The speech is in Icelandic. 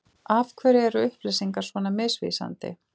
Af hverju er upplýsingar svona misvísandi?